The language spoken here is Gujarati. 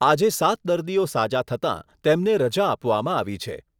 આજે સાત દર્દીઓ સાજા થતાં તેમને રજા આપવામાં આવી છે.